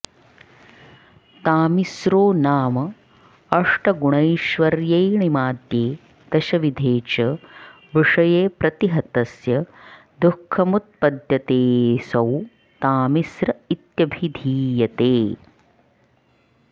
तामिस्रो नाम अष्टगुणैश्वर्येऽणिमाद्ये दशविधे च विषये प्रतिहतस्य दुःखमुत्पद्यतेऽसौ तामिस्र इत्यभिधीयते